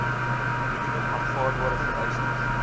minimum aanvaarbare vereistes